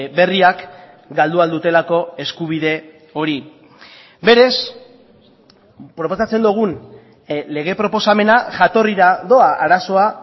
berriak galdu ahal dutelako eskubide hori berez proposatzen dugun lege proposamena jatorrira doa arazoa